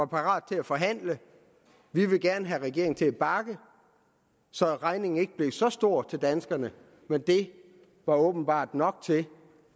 parate til at forhandle vi ville gerne have regeringen til at bakke så regningen ikke blev så stor til danskerne men det var åbenbart nok til